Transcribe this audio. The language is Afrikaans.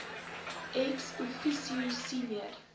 ex officio senior